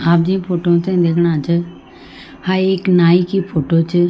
आप जी फोटो ते दिखणा च हां एक नाइ की फोटो च।